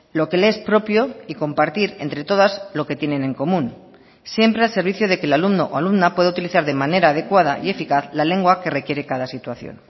lo que le es propio y compartir entre todas lo que tienen en común siempre al servicio de que el alumno o alumna pueda utilizar de manera adecuada y eficaz la lengua que requiere cada situación